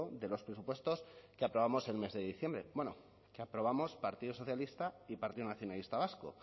de los presupuestos que aprobamos el mes de diciembre bueno que aprobamos partido socialista y partido nacionalista vasco